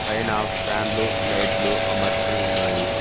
పైన ఫ్యాన్ లు లైట్లు అమర్చి ఉన్నాయి.